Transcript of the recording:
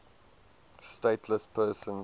stateless persons